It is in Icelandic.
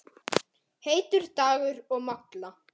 Heitur dagur og molla.